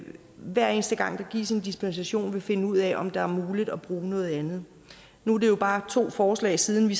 hver eneste gang der gives en dispensation vil finde ud af om det er muligt at bruge noget andet nu er det jo bare to forslag siden vi